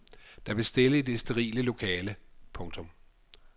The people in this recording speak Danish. Der blev stille i det sterile lokale. punktum